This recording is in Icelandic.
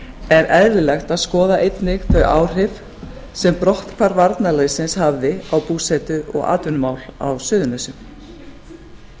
er eðlilegt að skoða einnig þau áhrif sem brotthvarf varnarliðsins hafði á búsetu og atvinnumál á suðurnesjum